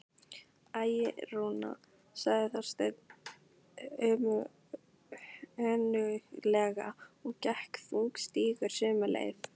Æ, Rúna sagði Þorsteinn önuglega og gekk þungstígur sömu leið.